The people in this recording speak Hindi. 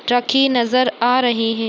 रखी नज़र आ रही हे।